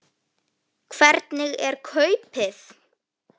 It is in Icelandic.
Hvernig er kaupið?